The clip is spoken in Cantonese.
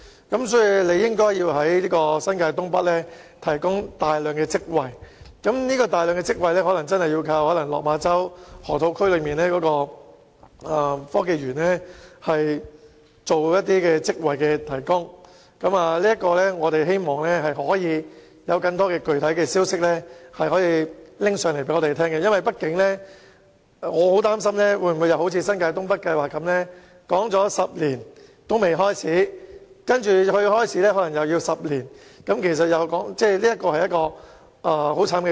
因此，當局應在新界東北提供大量職位，這可能真的要依賴落馬洲河套區內的科技園提供職位，希望當局能夠有更多具體消息告訴我們，因為我很擔心會如發展新界東北計劃般，花10年討論仍未開始工作，其後又可能要10年才有成果，這是很悲慘的事情。